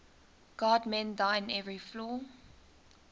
god mend thine every flaw